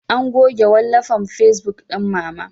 An goge wallafan facebuk ɗin Mama.